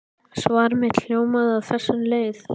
Svar mitt hljóðaði á þessa leið